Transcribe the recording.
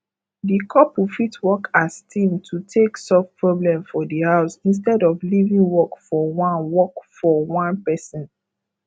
di couple fit work as team to take solve problem for di house instead of leaving work for one work for one person